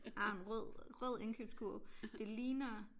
Har en rød rød indkøbskurv det ligner